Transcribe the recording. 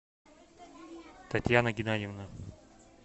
татьяна геннадьевна